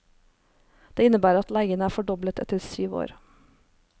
Det innebærer at leiene er fordoblet etter syv år.